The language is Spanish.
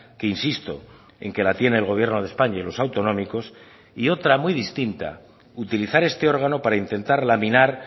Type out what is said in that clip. que insisto en que la tiene el gobierno de españa y los autonómicos y otra muy distinta utilizar este órgano para intentar laminar